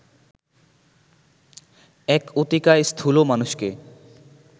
এক অতিকায় স্থুল মানুষকে